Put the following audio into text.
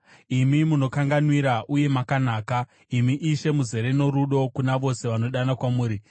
Imi munokanganwira uye makanaka, imi Ishe, muzere norudo kuna vose vanodana kwamuri.